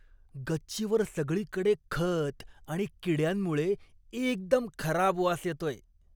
गच्चीवर सगळीकडे खत आणि किड्यांमुळे एकदम खराब वास येतोय.